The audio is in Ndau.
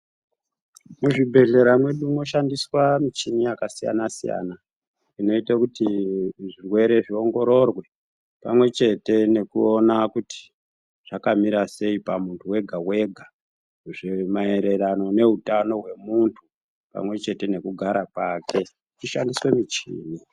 Muzvibhehlera mwedu mwoshandiswa michini yakasiyana siyanaa inoite kuti zvirwere zviongororwe pamwechete nekuona kuti zvakamirasei pamuntu wega wega maererano neutano hwemunhu pamwechete nekugara kwake kuchishandiswe muchini.